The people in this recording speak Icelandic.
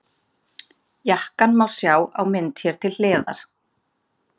Jakkann má sjá á mynd hér til hliðar.